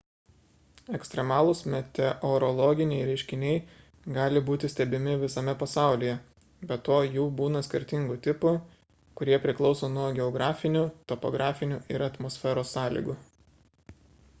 ekstremalūs meteorologiniai reiškiniai gali būti stebimi visame pasaulyje be to jų būna skirtingų tipų kurie priklauso nuo geografinių topografinių ir atmosferos sąlygų